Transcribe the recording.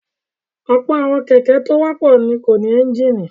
Ọ̀pọ̀ àwọn kẹ̀kẹ́ tó wọ́pọ̀ kò ní ẹ́ńjínì.